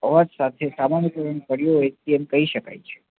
અવાજ સાથે સામાન્ય પૂર્ણ કડીઓ વેચેતી એમ કહી શકાય છે